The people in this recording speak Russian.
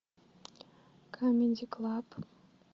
камеди клаб